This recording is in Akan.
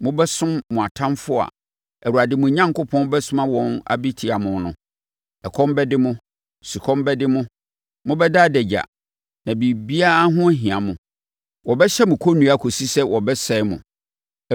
mobɛsom mo atamfoɔ a Awurade, mo Onyankopɔn, bɛsoma wɔn abɛtia mo no. Ɛkɔm bɛde mo; sukɔm bɛde mo; mobɛda adagya na biribiara ho ahia mo. Wɔbɛhyɛ mo kɔnnua kɔsi sɛ wɔbɛsɛe mo.